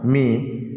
Min